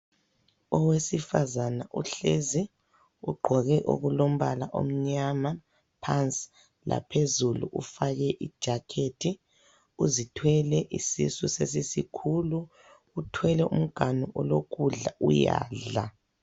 Owesifazane uhlezi ugqoke okulombala omnyama phansi laphezulu ufake ijakhethi, uzithwele isisu sesisikhulu uthwele umganu olokudla uyadla.